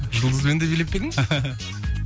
жұлдызбен де билеп пе едің